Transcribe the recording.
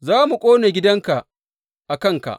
Za mu ƙone gidanka a kanka.